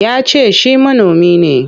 Ya ce shi manomi ne.